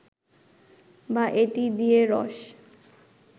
বা এটি দিয়ে রস